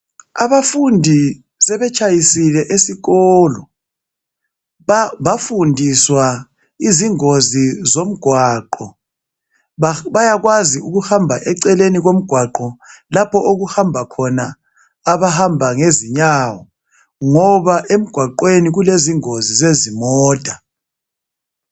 Abafundi sebetshayisile esikolo bafundiswa izingozi zomgwaqo bayakwazi ukuhamba eceleni komgwaqo lapho okuhamba khona abahamba ngezinyawo ngoba emgwaqweni kulezingozi zezimota